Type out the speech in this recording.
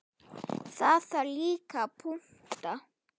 Það þarf líka að punta.